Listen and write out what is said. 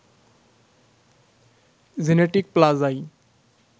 genetic প্লাজায়